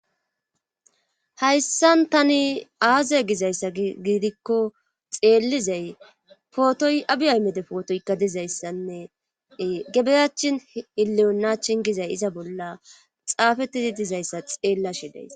Hayssan tani aaze gizayssa giidikko xeellizay pootoy abi aymede pootoykka dizayssanne gebeyachin ileyonaachin gizay iza bolla xaafetidi dizayssa xeella shidays.